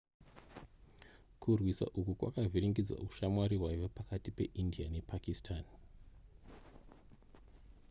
kurwisa uku kwakavhiringidza ushamwari hwaiva pakati peindia nepakistan